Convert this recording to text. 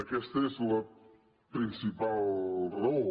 aquesta és la principal raó